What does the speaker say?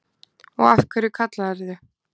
Og af hverju kallarðu